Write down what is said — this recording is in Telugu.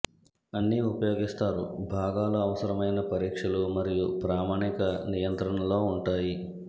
అన్ని ఉపయోగిస్తారు భాగాలు అవసరమైన పరీక్షలు మరియు ప్రామాణిక నియంత్రణలో ఉంటాయి